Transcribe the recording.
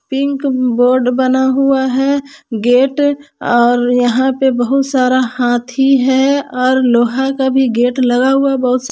pink board बना हुआ है गेट और यहां पर बहुत सारा हाथी है और लोहा का भी गेट लगा हुआ बहुत--